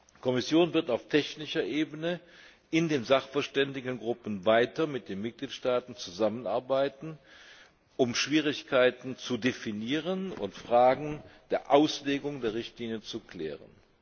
Die Kommission wird auf technischer Ebene in den Sachverständigengruppen weiter mit den Mitgliedstaaten zusammenarbeiten, um Schwierigkeiten zu definieren und Fragen der Auslegung der Richtlinie zu klären.